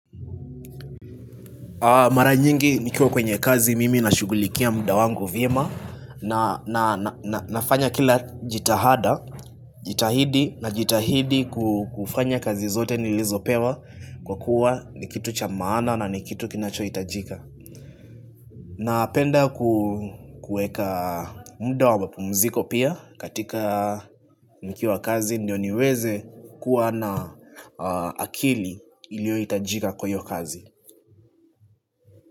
Mara nyingi nikiwa kwenye kazi mimi nashugulikia muda wangu vyema nafanya kila jitihada, jitahidi najitahidi kufanya kazi zote ni lizopewa kwa kuwa ni kitu cha maana na ni kitu kinachohitajika Napenda kuweka muda wa mapumziko pia katika nikiwa kazi ndio niweze kua na akili iliohitajika kwa iyo kazi.